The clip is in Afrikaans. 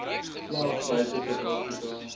slag buite suidafrika